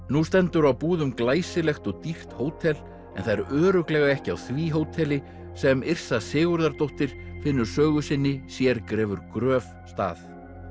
nú stendur á Búðum glæsilegt og dýrt hótel en það er örugglega ekki á því hóteli sem Yrsa Sigurðardóttir finnur sögu sinni sér grefur gröf stað